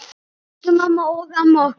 Elsku mamma og amma okkar.